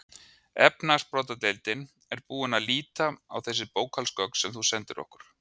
Efnahagsbrotadeildin er búin að líta á þessi bókhaldsgögn sem þú sendir okkur.